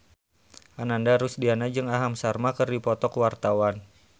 Ananda Rusdiana jeung Aham Sharma keur dipoto ku wartawan